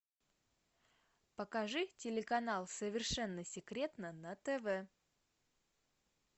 покажи телеканал совершенно секретно на тв